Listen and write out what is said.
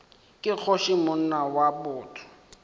ke kgoši monna wa botho